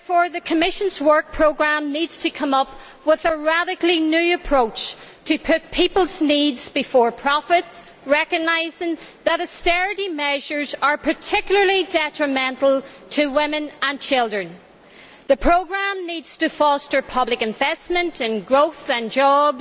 The Commission's work programme therefore needs to come up with a radically new approach, putting people's needs before profits and recognising that austerity measures are particularly detrimental to women and children. The programme needs to foster public investment in growth and jobs.